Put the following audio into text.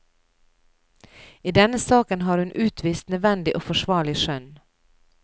I denne saken har hun utvist nødvendig og forsvarlig skjønn.